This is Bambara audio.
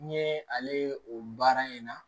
N ye ale ye o baara in na